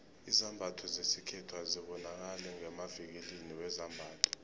izambatho zesikhethu azibonakali ngemavikilini wezambatho